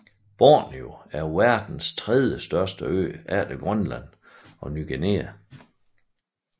Borneo er verdens tredjestørste ø efter Grønland og Ny Guinea